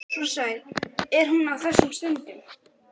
Svo sæl er hún á þessum stundum.